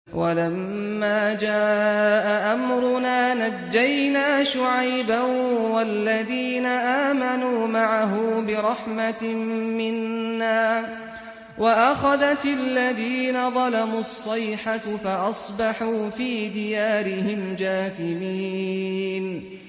وَلَمَّا جَاءَ أَمْرُنَا نَجَّيْنَا شُعَيْبًا وَالَّذِينَ آمَنُوا مَعَهُ بِرَحْمَةٍ مِّنَّا وَأَخَذَتِ الَّذِينَ ظَلَمُوا الصَّيْحَةُ فَأَصْبَحُوا فِي دِيَارِهِمْ جَاثِمِينَ